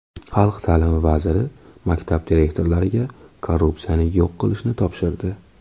Xalq ta’limi vaziri maktab direktorlariga korrupsiyani yo‘q qilishni topshirdi.